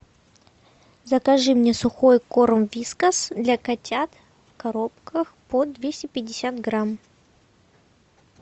закажи мне сухой корм вискас для котят в коробках по двести пятьдесят грамм